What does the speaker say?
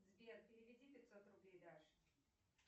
сбер переведи пятьсот рублей даше